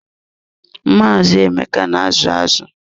Maazị Emeka na azu azụ.